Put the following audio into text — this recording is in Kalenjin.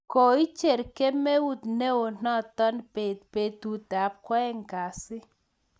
Koicher kamuet neo noto beet betut ab kwaeng kasi